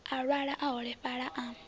a lwala a holefhala a